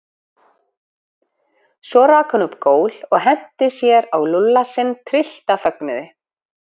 Svo rak hún upp gól og henti sér á Lúlla sinn tryllt af fögnuði.